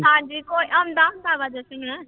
ਹਾਂਜੀ ਕੋ ਆਉਂਦਾ ਹੁੰਦਾ ਵਾ ਜਸਨ।